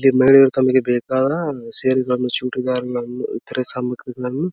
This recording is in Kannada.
ಇಲ್ಲಿ ಮಹಿಳೆಯರು ತಮಗೆ ಬೇಕಾದ ಸೀರೆಗಳನ್ನು ಚೂಡಿದಾರಗಳನ್ನು ಇತರೆ ಸಾಮಗ್ರಿಗಳನ್ನು --